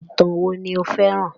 Ìtàn wo ni o féràn?